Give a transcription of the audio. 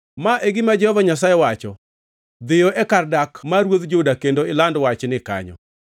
Ma e gima Jehova Nyasaye wacho: “Dhiyo e kar dak mar ruodh Juda kendo iland wachni kanyo: